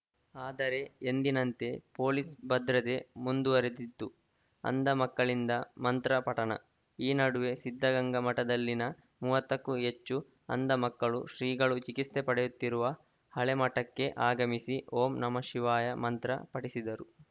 ಆದರೆ ಎಂದಿನಂತೆ ಪೊಲೀಸ್‌ ಭದ್ರತೆ ಮುಂದುವರೆದಿತ್ತು ಅಂಧ ಮಕ್ಕಳಿಂದ ಮಂತ್ರ ಪಠಣ ಈ ನಡುವೆ ಸಿದ್ಧಗಂಗಾ ಮಠದಲ್ಲಿನ ಮೂವತ್ತಕ್ಕೂ ಹೆಚ್ಚು ಅಂಧ ಮಕ್ಕಳು ಶ್ರೀಗಳು ಚಿಕಿತ್ಸೆ ಪಡೆಯುತ್ತಿರುವ ಹಳೆ ಮಠಕ್ಕೆ ಆಗಮಿಸಿ ಓಂ ನಮಃ ಶಿವಾಯ ಮಂತ್ರ ಪಠಿಸಿದರು